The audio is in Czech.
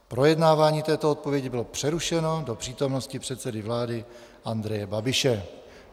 Projednávání této odpovědi bylo přerušeno do přítomnosti předsedy vlády Andreje Babiše.